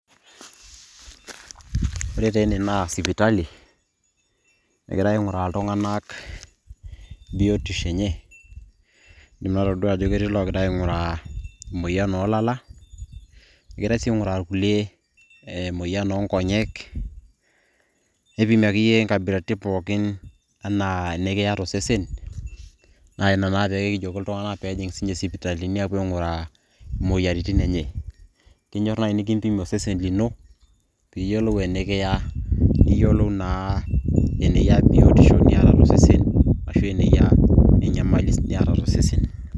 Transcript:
ore taa ene naa sipitali, egirae aing'uraa iltung'anak biotisho enye. egirae aing'uraa emoyian oolala. egirae siii aing'uraa irkulie emoyian oo nkonyek, neipimi akeyie inkabilaritin pookin, anaa enikiya tosesen.na inaa pee ejokini iltunganak metijing'a isipitalini pee epuoi aing'uraa imoyiaritin enye. keyieu naaji nikimpimi osesen pookin, osesen lino pee iyiolou enikiya, niyiolu naa eneyia biotisho niyata tosesen ashu eneyia enyamali niyata tosesen.